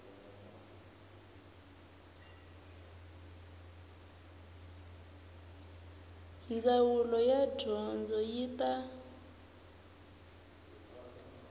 ndzawulo ya dyondzo yi ta